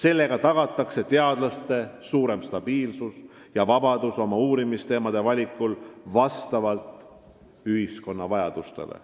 Nii tagatakse teadlastele suurem stabiilsus ja vabadus oma uurimisteemade valikul vastavalt ühiskonna vajadustele.